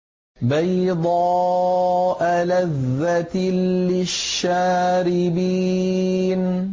بَيْضَاءَ لَذَّةٍ لِّلشَّارِبِينَ